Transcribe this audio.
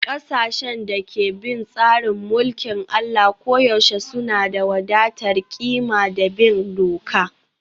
Ƙasashen da ke bin tsarin mulkin Allah koyaushe suna da wadatar ƙima da bin doka